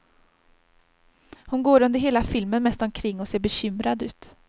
Hon går under hela filmen mest omkring och ser bekymrad ut.